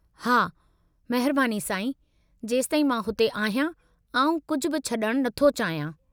हां, महिरबानी साईं, जेसिताईं मां हुते आहियां, आउं कुझु बि छॾणु नथो चाहियां।